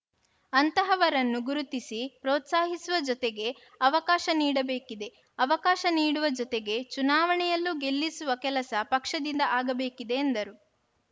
ಅಂತಹವರನ್ನು ಗುರುತಿಸಿ ಪ್ರೋತ್ಸಾಹಿಸುವ ಜೊತೆಗೆ ಅವಕಾಶ ನೀಡಬೇಕಿದೆ ಅವಕಾಶ ನೀಡುವ ಜೊತೆಗೆ ಚುನಾವಣೆಯಲ್ಲೂ ಗೆಲ್ಲಿಸುವ ಕೆಲಸ ಪಕ್ಷದಿಂದ ಆಗಬೇಕಿದೆ ಎಂದರು